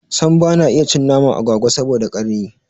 Sam bana iya cin naman agwagwa saboda karni